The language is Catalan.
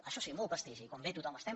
això sí molt prestigi quan ve tothom estem